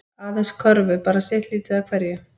Aðeins körfu bara sitt lítið af hverju